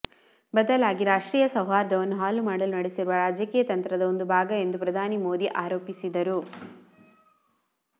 ಬದಲಾಗಿ ರಾಷ್ಟ್ರೀಯ ಸೌಹಾರ್ದವನ್ನು ಹಾಳು ಮಾಡಲು ನಡೆಸಿರುವ ರಾಜಕೀಯ ತಂತ್ರದ ಒಂದು ಭಾಗ ಎಂದು ಪ್ರಧಾನಿ ನರೇಂದ್ರ ಮೋದಿ ಆರೋಪಿಸಿದರು